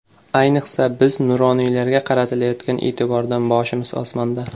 Ayniqsa, biz nuroniylarga qaratilayotgan e’tibordan boshimiz osmonda.